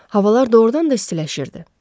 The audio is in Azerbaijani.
Havalar doğurdan da istiləşirdi.